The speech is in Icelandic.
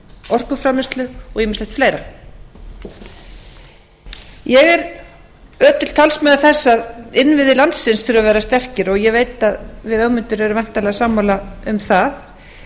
orkuframleiðslu og ýmislegt fleira ég er ötull talsmaður þess að innviðir landsins þurfa að vera sterkir og ég veit að við ögmundur erum væntanlega sammála um það